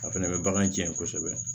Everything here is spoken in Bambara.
A fɛnɛ bɛ bagan cɛn kosɛbɛ